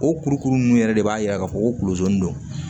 O kurukuru nunnu yɛrɛ de b'a yira k'a fɔ ko kulonson don